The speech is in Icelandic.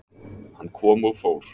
Hann kom og fór.